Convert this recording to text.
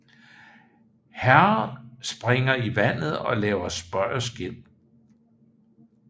Herrer springer i vandet og laver spøg og skæmt